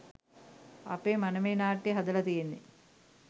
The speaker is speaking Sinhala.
අපේ මනමේ නාට්‍යය හදල තියෙන්නේ